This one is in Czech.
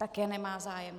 Také nemá zájem.